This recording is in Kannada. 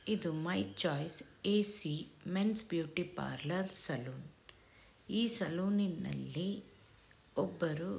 ''ಇದು my choice A C men's beauty parlour salon ಈ ಸಲೂನಿನಲ್ಲಿ ಒಬ್ಬರು--''